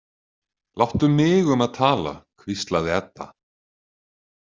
Láttu mig um að tala, hvíslaði Edda.